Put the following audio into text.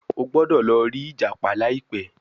o gbódò lò ri ìjàpá laipe